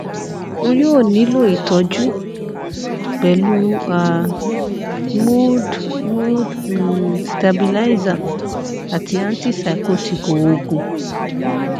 o yoo nilo itọju pẹlu a mood mood um stabilizer ati antipsychotic oogun